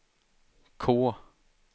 K